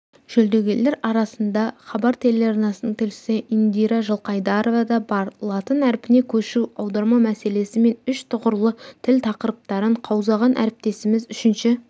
жүлдегерлер арасында хабар телеарнасының тілшісі индира жылқайдарова да бар латын әрпіне көшу аударма мәселесі мен үш тұғырлы тіл тақырыптарын қаузаған әріптесіміз үшінші